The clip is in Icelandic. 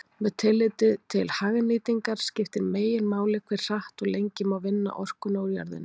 Með tilliti til hagnýtingar skiptir meginmáli hve hratt og lengi má vinna orkuna úr jörðinni.